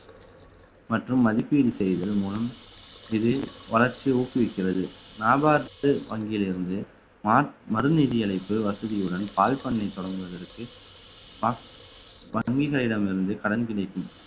மற்றும் மதிப்பீடு செய்தல் மூலம் இது வளர்ச்சியை ஊக்குவிக்கிறது வியாபாரத்து வங்கியிலிருந்து ம~ மறு வசதியுடன் பால் பண்ணை தொடங்குவதற்கு வங்கிகளிடமிருந்து கடன் கிடைக்கும்